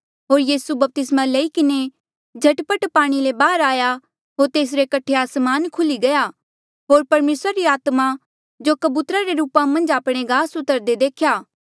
होर यीसू बपतिस्मा लई किन्हें झट पट पाणी ले बहार आया होर तेसरे कठे आसमान खुल्ही गया होर परमेसरा री आत्मा जो कबूतरा रे रूपा मन्झ आपणे गास उतरदे देख्या